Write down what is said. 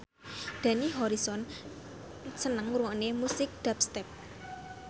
Dani Harrison seneng ngrungokne musik dubstep